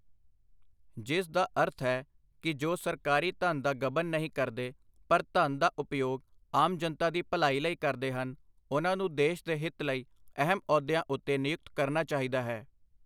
ਜਿਸ ਦਾ ਅਰਥ ਹੈ ਕਿ ਜੋ ਸਰਕਾਰੀ ਧਨ ਦਾ ਗ਼ਬਨ ਨਹੀਂ ਕਰਦੇ, ਪਰ ਧਨ ਦਾ ਉਪਯੋਗ ਆਮ ਜਨਤਾ ਦੀ ਭਲਾਈ ਲਈ ਕਰਦੇ ਹਨ, ਉਨ੍ਹਾਂ ਨੂੰ ਦੇਸ਼ ਦੇ ਹਿਤ ਲਈ ਅਹਿਮ ਅਹੁਦਿਆਂ ਉੱਤੇ ਨਿਯੁਕਤ ਕਰਨਾ ਚਾਹੀਦਾ ਹੈ।